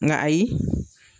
Nga ayi .